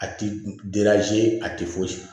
A ti a ti fosi